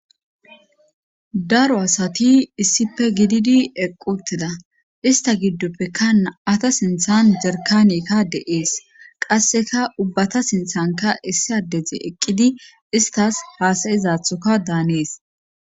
Daro asati issife gididi eqquteda ista giddoppeka naata sinthan derkanekka de'ees qasseka ubbata sinthanka issiadeze eqqidi istas haasayizathoka daanees.